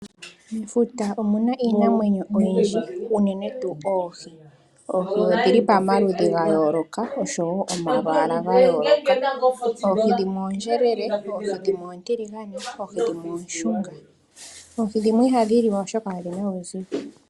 Mefuta omuna iinamwenyo oyindji unene tuu oohi. Oohi odhili pamaludhi ga yooloka oshowo omalwaala ga yooloka. Oohi dhimwe oondjelele, dhimwe oontiligane, dhimwe ooshunga. Oohi dhimwe ihadhi liwa oshoka odhina uuzigo.